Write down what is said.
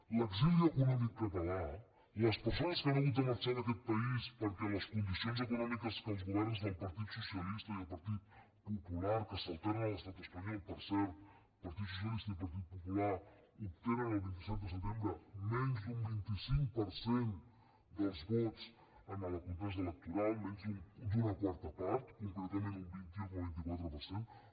a l’exili econòmic català les persones que han hagut de marxar d’aquest país perquè les condicions econòmiques que els governs del partit socialista i del partit popular que s’alternen a l’estat espanyol per cert partit socialista i partit popular obtenen el vint set de setembre menys d’un vint cinc per cent dels vots en la contesa electoral menys d’una quarta part concretament un vint un coma vint quatre per cent